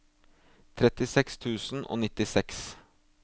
trettiseks tusen og nittiseks